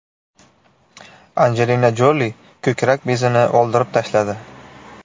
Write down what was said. Anjelina Joli ko‘krak bezini oldirib tashladi.